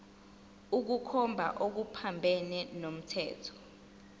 ukukhomba okuphambene nomthetho